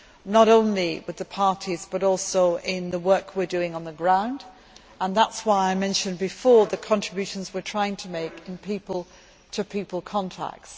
not only with the parties but also in the work we are doing on the ground, and that is why I mentioned earlier the contributions we are trying to make in people to people contacts.